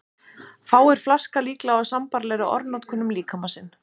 Fáir flaska líklega á sambærilegri orðanotkun um líkama sinn.